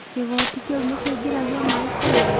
Kĩgoti kĩu nĩkĩingĩragia maĩ kweri?